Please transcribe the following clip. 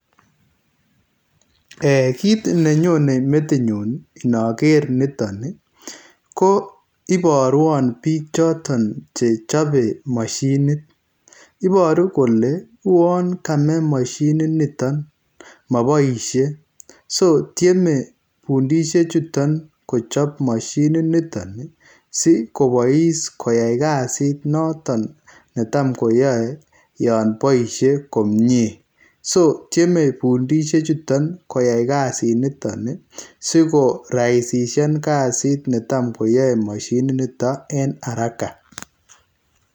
um Kit nenyone metinyu inoker nitoni, ko iborwon piik choton che chobe mashinit, iboru kole uon kame mashininiton moboisie, so tyeme pundishe chuton kochop mashininitoni si kobois koyai kazit noton tam koyoe yo boisie komie, so tyeme pundishe chuton koyai kazinitoni si koraisisian kazit ne tam koyae mashininiton en haraka.